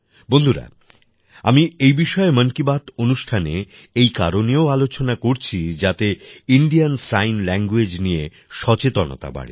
বন্ধুরা আমি এই বিষয়ে মন কি বাত অনুষ্ঠানে এই কারণেও আলোচনা করছি যাতে ইন্ডিয়ান সাইন ল্যাঙ্গুয়েজ নিয়ে সচেতনতা বাড়ে